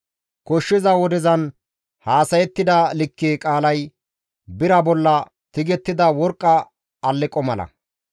Koshshiza wodezan haasayettida likke qaalay bira bolla tigettida worqqa alleqo mala.